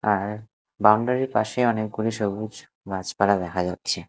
আর বাউন্ডারি -র পাশে অনেকগুলি সবুজ গাছপালা দেখা যাচ্ছে।